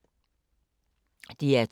DR2